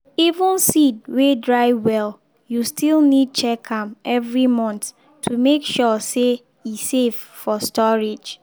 even seed wey dry well you still need check am every month to make sure say e safe for storage.